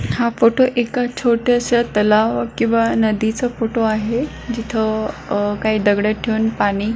हा फोटो एका छोट्याश्या तलाव किंवा नदीचा फोटो आहे जिथं अ काही दगड ठेवून पाणी--